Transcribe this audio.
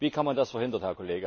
Wie kann man das verhindern?